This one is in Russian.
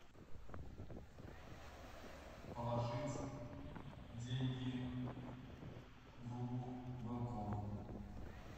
положить деньги другу вэлком